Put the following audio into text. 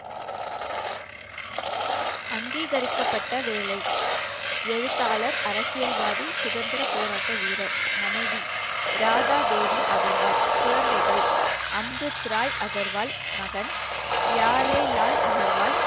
அங்கீகரிக்கப்பட்ட வேலை எழுத்தாளர் அரசியல்வாதி சுதந்திரப் போராட்ட வீரர் மனைவி ராதா தேவி அகர்வால் குழந்தைகள் அம்ரித் ராய் அகர்வால் மகன் லால் அகர்வால்